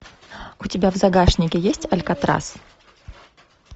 у тебя в загашнике есть алькатрас